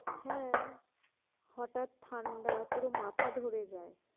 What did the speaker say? হ্যাঁ হঠাৎ ঠাণ্ডা পুরো মাথা ধরে যায়।